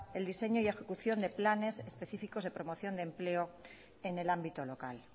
el diseño y ejecución de planes específicos de promoción de empleo en el ámbito local